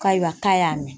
Ayiwa k'a y'a mɛn